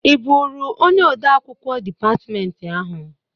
I bụrụ onye ode akwụkwọ dịpatmentị ahụ?